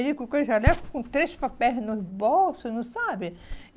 Ele colocou o jaleco com três papéis nos bolsos, não sabe?